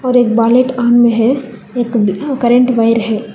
एक ऑन में है एक करेंट वायर है।